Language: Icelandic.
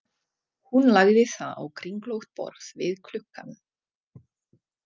Hún lagði það á kringlótt borð við gluggann.